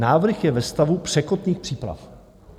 "Návrh je ve stavu překotných příprav."